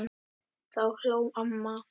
Þá hló amma.